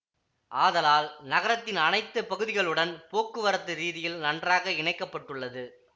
ஆதலால் நகரத்தின் அனைத்து பகுதிகளுடன் போக்குவரத்து ரீதியில் நன்றாக இணைக்க பட்டுள்ளது